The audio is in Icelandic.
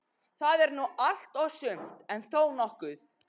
Það er nú allt og sumt, en þó nokkuð.